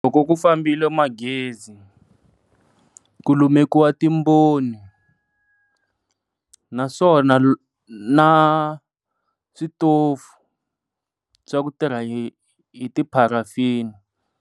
Loko ku fambile magezi ku lumekiwa timboni naswona na switofu swa ku tirha hi hi ti pharafini.